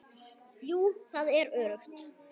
Jú, það er öruggt.